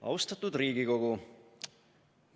Austatud Riigikogu!